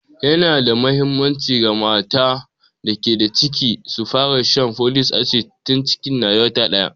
Yana da muhimmanci ga mata da ke da ciki su fara shan folic asid tun cikin na wata daya.